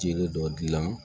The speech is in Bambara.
Jiri dɔ gilan